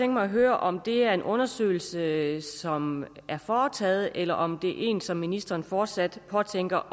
mig at høre om det er en undersøgelse som er foretaget eller om det er en undersøgelse som ministeren fortsat påtænker